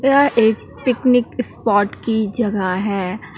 यह एक picnic spot की जगह है।